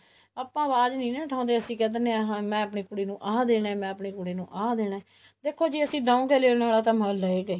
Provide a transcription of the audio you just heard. ਆਪਾਂ ਆਵਾਜ ਨਹੀਂ ਨਾ ਉਠਾਉਂਦੇ ਅਸੀਂ ਕਿਹ ਦਿੰਦੇ ਹਾਂ ਮੈਂ ਆਪਣੀ ਕੁੜੀ ਨੂੰ ਆਹ ਦੇਣਾ ਮੈਂ ਆਪਣੀ ਕੁੜੀ ਨੂੰ ਆਹ ਦੇਣਾ ਦੇਖੋ ਜੇ ਅਸੀਂ ਦਵਾਂਗੇ ਲੈਣ ਆਲਾ ਤਾ ਲਉਗਾ ਹੀ